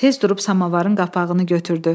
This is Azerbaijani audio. Tez durub samavarın qapağını götürdü.